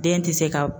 Den tɛ se ka